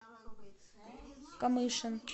камышин